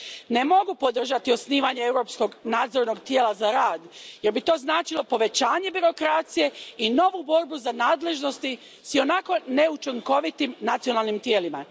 Ne mogu podržati osnivanje Europskog nadzornog tijela za rad jer bi to značilo povećanje birokracije i novu borbu za nadležnosti s ionako neučinkovitim nacionalnim tijelima.